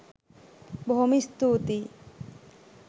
බොහොම ස්තූතියි.!